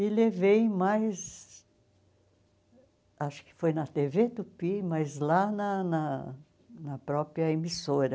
E levei mais, acho que foi na tê vê Tupi, mas lá na na na própria emissora.